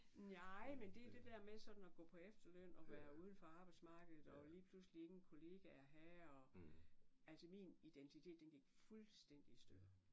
Nej men det er der der med sådan at gå på efterløn og være uden for arbejdsmarkedet og lige pludselig ingen kollegaer have og altså min identitet den gik fuldstændig i stykker